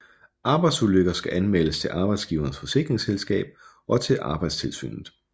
Arbejdsulykker skal anmeldes til arbejdsgiverens forsikringsselskab og til Arbejdstilsynet